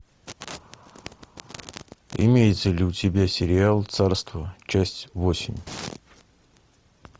имеется ли у тебя сериал царство часть восемь